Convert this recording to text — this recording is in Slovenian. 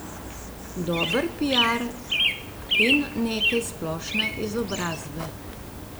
Dober piar in nekaj splošne izobrazbe.